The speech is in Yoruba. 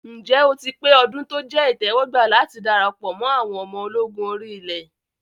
Ǹjẹ́ o ti pé ọdún tó jẹ́ ìtẹ́wọ́gbà láti darapọ̀ mọ àwọn ọmọ ológun orí ilẹ̀?